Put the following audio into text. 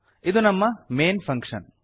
ಇದು ನಮ್ಮ main function